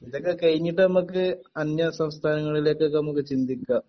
ഇതൊക്കെ കഴിഞ്ഞിട്ട് നമ്മക് അന്യ സംസ്ഥാങ്ങളിൽക്ക് ഒക്കെ നമുക്ക് ചിന്തിക്കാം